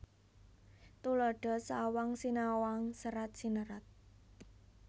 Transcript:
Tuladha sawang sinawang serat sinerat